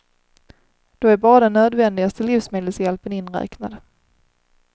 Då är bara den nödvändigaste livsmedelshjälpen inräknad.